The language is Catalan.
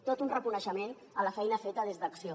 tot un reconeixement a la feina feta des d’acció